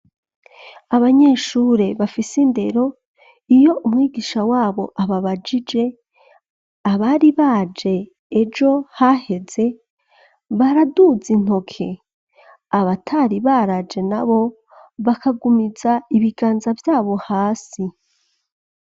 Abanyeshure bafise indero, iyo umwigisha wabo ababajije abari baje ejo haheze, baraduza intoke, abatari baraje na bo bakagumiza ibiganza vyabo hasi.